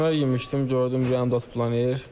Dönər yemişdim, gördüm ürəyimdə tutma eləyir.